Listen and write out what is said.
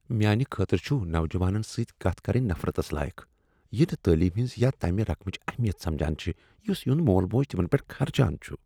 میانہ خٲطرٕ چُھ نوجوانن سۭتۍ کتھ کرٕنۍ نفرتس لایق یتھہٕ تعلیمہِ ہنز یا تمہِ رقمچہِ اہمیت سمجان چھِ یُس تِہُند مول موج تِمن پیٹھ خرچان چُھ۔